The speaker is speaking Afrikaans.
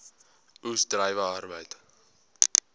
oes druiwe arbeid